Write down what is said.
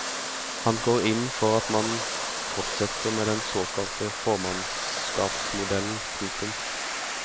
Han går inn for at man fortsetter med den såkalte formannskapsmodellen. punktum